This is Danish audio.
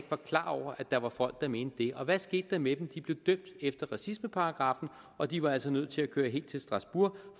var klar over at der var folk der mente det og hvad skete der med dem de blev dømt efter racismeparagraffen og de var altså nødt til at køre helt til strasbourg